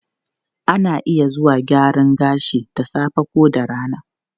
Ana iya zuwa gyaran gashi da safe ko da rana.